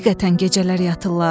Həqiqətən gecələr yatırlar?